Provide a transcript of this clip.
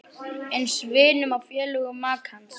Eins vinum og félögum makans.